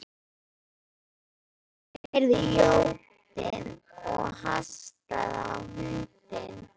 Marteinn heyrði jódyn og hastaði á hundinn.